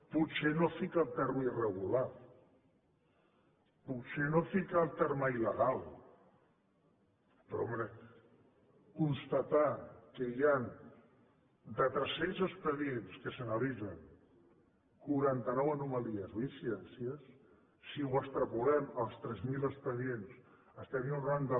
potser no fica el terme irregular potser no fica el terme illegal però home constatar que hi han de tres cents expedients que s’analitzen quaranta nou anomalies o incidències si ho extrapolem als tres mil expedients estaríem enraonant de